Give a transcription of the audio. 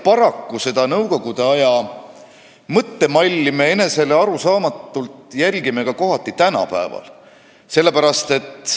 Paraku me seda nõukogude aja mõttemalli enesele arusaamatult järgime ka kohati tänapäeval.